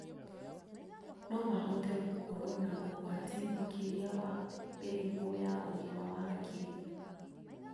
No mahote gũkorwo na ũgwati makĩria wa mĩrimũ ya ũgima wa hakiri.